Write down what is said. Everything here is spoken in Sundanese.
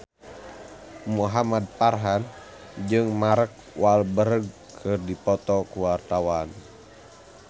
Muhamad Farhan jeung Mark Walberg keur dipoto ku wartawan